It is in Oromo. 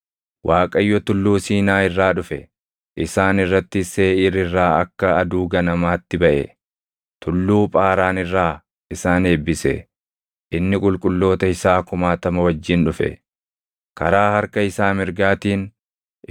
innis akkana jedhe: “ Waaqayyo tulluu Siinaa irraa dhufe; isaan irrattis Seeʼiir irraa akka aduu ganamaatti baʼe; Tulluu Phaaraan irraa isaan eebbise. Inni qulqulloota isaa kumaatama wajjin dhufe; karaa harka isaa mirgaatiin